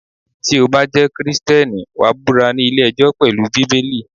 Tí o bá jẹ́ Kristẹni, wàá búra ní ilé ẹjọ́ pelu Bíbélì.